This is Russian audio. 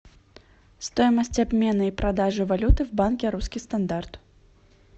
стоимость обмена и продажи валюты в банке русский стандарт